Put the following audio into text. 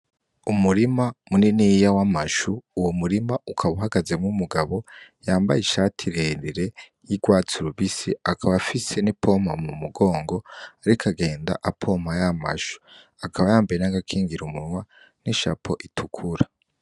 Umurima munini yiya wo amashu uwo murima ukaba uhagazemo umugabo yambaye ishati rerire y'irwatsi rubisi akaba afise n'i poma mu mugongo, ariko agenda apompa y'amashu akaba yambaye n'agakingira umunwa n'ishapo itukura.